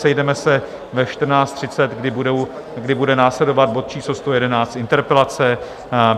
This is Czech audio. Sejdeme se ve 14.30, kdy bude následovat bod číslo 111 - interpelace.